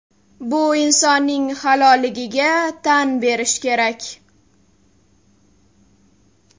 Bu insonning halolligiga tan berish kerak.